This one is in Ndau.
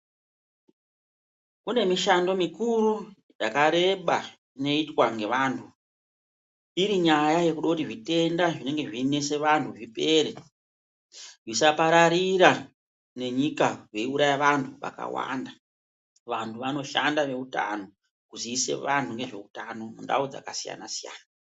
Kune mishando mikuru yaka reba inoitwa nge vantu iri nyaya yekuda kuti zvitenda zvinenge zvei nese vantu zvipere zvisa pararira ne nyika vei uraya vantu vakawanda kuti vantu vano shanda ne utano kuziise anhu nezve utano mu ndau dzaka siyana siyana.